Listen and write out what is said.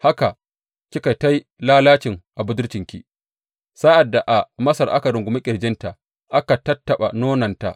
Haka kika yi ta lalacin budurcinki, sa’ad da a Masar aka rungumi ƙirjinta aka tattaɓa nononta.